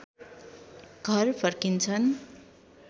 घर फर्किन्छन्